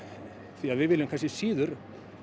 því við viljum kannski síður